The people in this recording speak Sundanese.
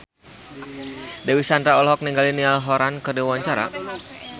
Dewi Sandra olohok ningali Niall Horran keur diwawancara